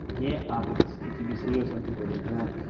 не агрись я тебе серьёзно говорю я